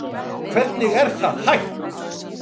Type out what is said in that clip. Hvernig er það hægt?